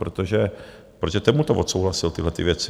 Protože ten mu to odsouhlasil, tyhlety věci.